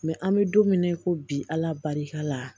Mɛ an bɛ don min na i ko bi ala barika la